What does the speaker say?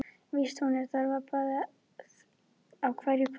Víst, hún þarf að fara í bað á hverju kvöldi.